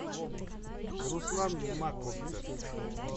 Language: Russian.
руслан маковцев